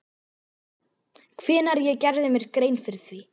Hvenær ég gerði mér grein fyrir því?